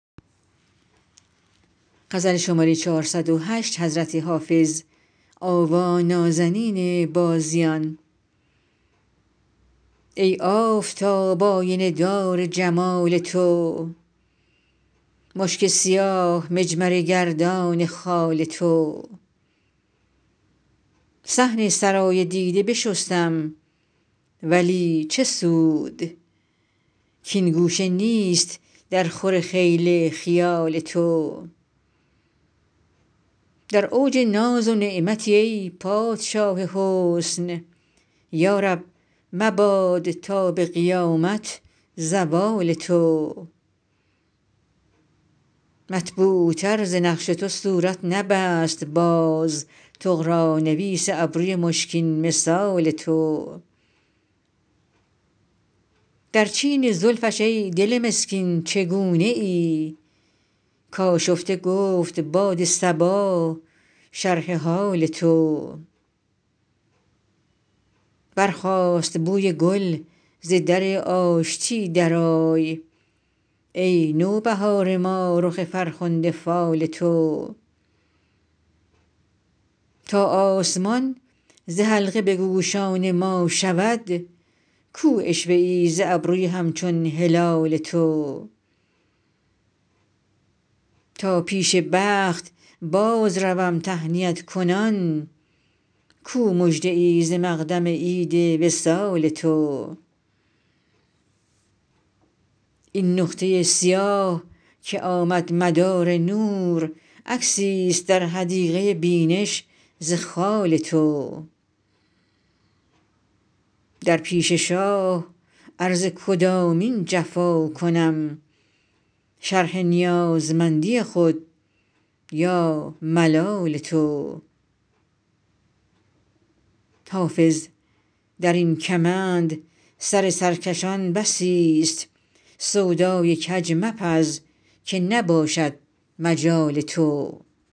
ای آفتاب آینه دار جمال تو مشک سیاه مجمره گردان خال تو صحن سرای دیده بشستم ولی چه سود کـ این گوشه نیست درخور خیل خیال تو در اوج ناز و نعمتی ای پادشاه حسن یا رب مباد تا به قیامت زوال تو مطبوعتر ز نقش تو صورت نبست باز طغرانویس ابروی مشکین مثال تو در چین زلفش ای دل مسکین چگونه ای کآشفته گفت باد صبا شرح حال تو برخاست بوی گل ز در آشتی درآی ای نوبهار ما رخ فرخنده فال تو تا آسمان ز حلقه به گوشان ما شود کو عشوه ای ز ابروی همچون هلال تو تا پیش بخت بازروم تهنیت کنان کو مژده ای ز مقدم عید وصال تو این نقطه سیاه که آمد مدار نور عکسیست در حدیقه بینش ز خال تو در پیش شاه عرض کدامین جفا کنم شرح نیازمندی خود یا ملال تو حافظ در این کمند سر سرکشان بسیست سودای کج مپز که نباشد مجال تو